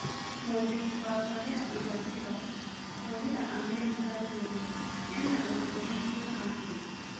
Mũjeshi wa Kolea irathĩro kũrĩĩra Amerika Rũgũrũ. Ena-ũndũ ũrĩkũ na Afirika ?